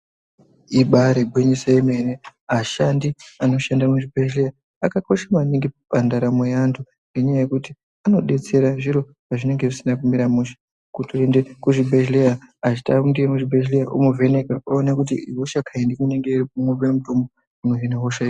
Ibaari gwinyiso remene ashandi anoshanda muzvibhendleya akakosha maningi pandaramo yeantu. Ngenyaya yekuti anodetsera zviro pazvinenge zvisina kumira mushe. Kutoenda kuchibhedhleya achitanga kuenda kuchibhedhleya omuvheneka oona kuti ihosha kaindii ohine mutombo unohina hosha iyoyo.